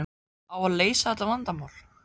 Á að leysa þetta vandamál?